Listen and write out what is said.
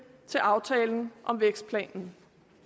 til aftalen om vækstplanen